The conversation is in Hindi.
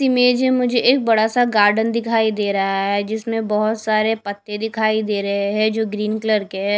इमेज में मुझे एक बड़ा सा गार्डन दिखाई दे रहा है जिसमें बहुत सारे पत्ते दिखाई दे रहे है जो ग्रीन कलर के है।